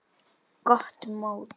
Gott mót.